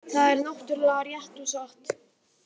Það er náttúrlega rétt og satt